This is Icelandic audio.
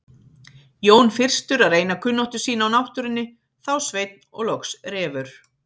Jón fyrstur að reyna kunnáttu sína á náttúrunni, þá Sveinn og loks Refur.